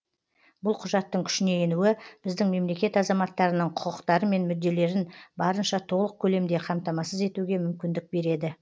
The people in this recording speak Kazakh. бұл құжаттың күшіне енуі біздің мемлекет азаматтарының құқықтары мен мүдделерін барынша толық көлемде қамтамасыз етуге мүмкіндік береді